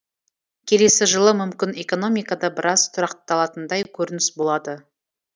келесі жылы мүмкін экономикада біраз тұрақталатындай көрініс болады